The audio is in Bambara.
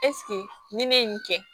ni ne ye nin kɛ